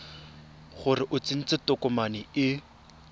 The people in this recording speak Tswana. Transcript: gore o tsentse tokomane e